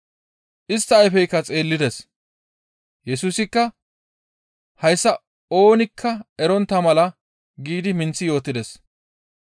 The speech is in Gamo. Istta ayfeykka xeellides. Yesusikka, «Hayssa oonikka erontta mala» giidi minththi yootides.